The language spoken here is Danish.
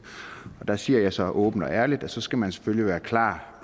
der siger jeg så åbent og ærligt at så skal man selvfølgelig være klar